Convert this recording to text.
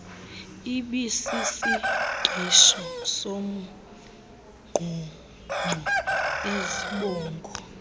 ibisisingqisho nomngqungqo izibongo